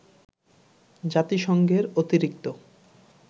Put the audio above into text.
জাতিসংঘের অতিরিক্ত